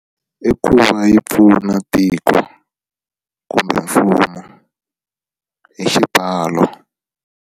I ku va yi pfuna tiko kumbe mfumo hi xipfalo.